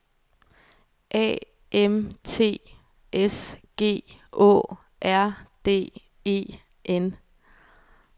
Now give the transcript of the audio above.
A M T S G Å R D E N